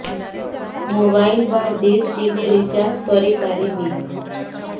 mobile ବା dish TV recharge କରି ପାରିବି